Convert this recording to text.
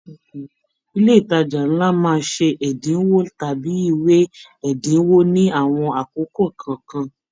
Ilé ìtàjà nlá máa ṣe ẹdinwo tàbí ìwé ẹdinwo ní àwọn àkókò kọọkan.